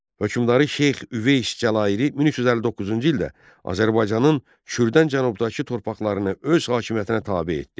Hökmdarı Şeyx Üveys Cəlaliri 1359-cu ildə Azərbaycanın şürdən cənubdakı torpaqlarını öz hakimiyyətinə tabe etdi.